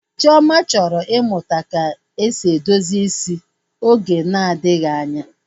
Chioma chọrọ ịmụta ka esi edozi isi oge na-adịghị anya